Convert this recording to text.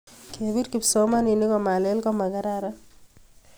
kepir kipsomaninik komalel komakararan